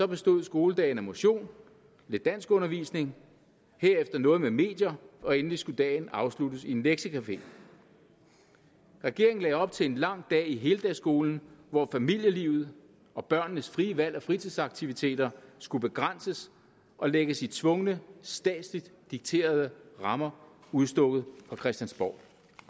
bestod skoledagen af motion lidt danskundervisning herefter noget med medier og endelig skulle dagen afsluttes i en lektiecafé regeringen lagde op til en lang dag i heldagsskolen hvor familielivet og børnenes frie valg af fritidsaktiviteter skulle begrænses og lægges i tvungne statsligt dikterede rammer udstukket fra christiansborg